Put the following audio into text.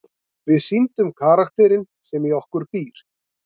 Við sýndum karakterinn sem í okkur býr.